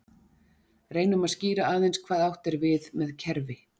Reynum að skýra aðeins hvað átt er við með kerfi.